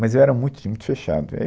Mas eu era muito tímido, muito fechado.